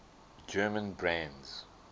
german brands